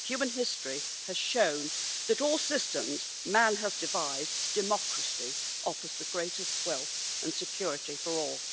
Human history has shown that, of all systems man has devised, democracy offers the greatest wealth and security for all.